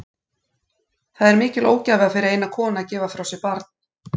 Það er mikil ógæfa fyrir eina konu að gefa frá sér barn.